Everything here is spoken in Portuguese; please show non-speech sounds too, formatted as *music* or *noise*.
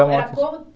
Era como *unintelligible*